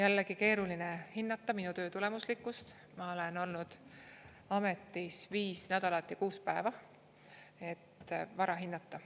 " Jällegi, keeruline hinnata minu töö tulemuslikkust, ma olen olnud ametis viis nädalat ja kuus päeva – vara hinnata.